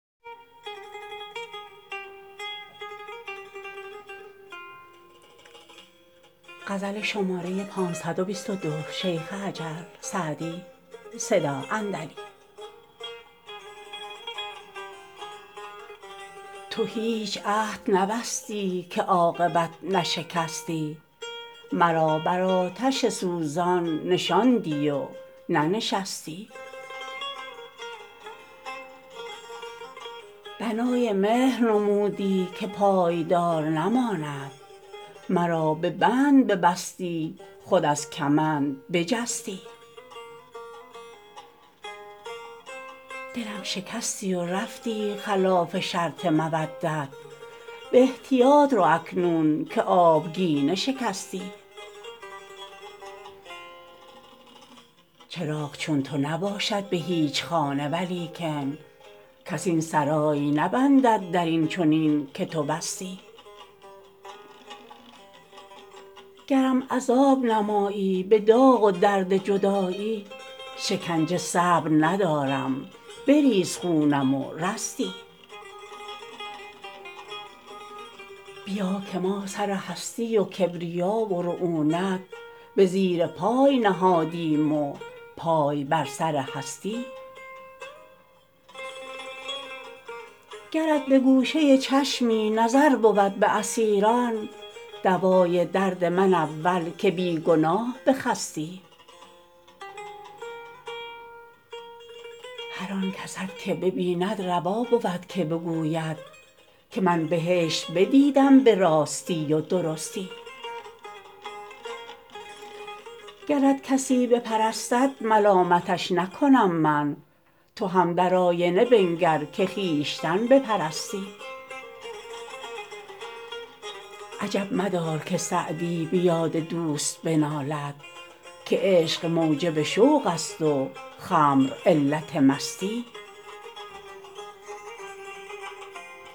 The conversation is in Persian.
تو هیچ عهد نبستی که عاقبت نشکستی مرا بر آتش سوزان نشاندی و ننشستی بنای مهر نمودی که پایدار نماند مرا به بند ببستی خود از کمند بجستی دلم شکستی و رفتی خلاف شرط مودت به احتیاط رو اکنون که آبگینه شکستی چراغ چون تو نباشد به هیچ خانه ولیکن کس این سرای نبندد در این چنین که تو بستی گرم عذاب نمایی به داغ و درد جدایی شکنجه صبر ندارم بریز خونم و رستی بیا که ما سر هستی و کبریا و رعونت به زیر پای نهادیم و پای بر سر هستی گرت به گوشه چشمی نظر بود به اسیران دوای درد من اول که بی گناه بخستی هر آن کست که ببیند روا بود که بگوید که من بهشت بدیدم به راستی و درستی گرت کسی بپرستد ملامتش نکنم من تو هم در آینه بنگر که خویشتن بپرستی عجب مدار که سعدی به یاد دوست بنالد که عشق موجب شوق است و خمر علت مستی